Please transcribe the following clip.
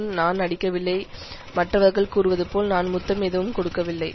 நான் நடிக்கவில்லை மற்றவர்கள் கூறுவதுபோல் நான் முத்தம் எதுவும் கொடுக்கவில்லை